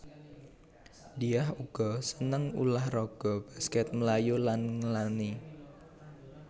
Diah uga seneng ulah raga baskèt mlayu lan nglangi